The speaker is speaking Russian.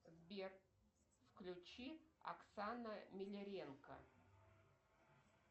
сбер включи оксана миляренко